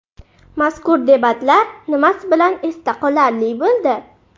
Mazkur debatlar nimasi bilan esda qolarli bo‘ldi?